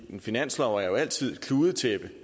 en finanslov er jo altid et kludetæppe